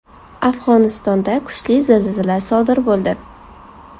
Afg‘onistonda kuchli zilzila sodir bo‘ldi.